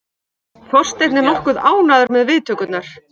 Þorsteinn er nokkuð ánægður með viðtökurnar.